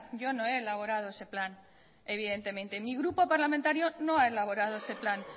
yo no he elaborado ese plan evidentemente mi grupo parlamentario no ha elaborado ese plan